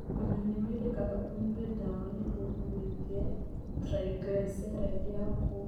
Ona nĩ wendekaga ũnyue ndawa nĩguo ũgũithie triglyceride yaku.